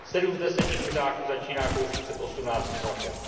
Sedm z deseti kuřáků začíná kouřit před osmnáctým rokem.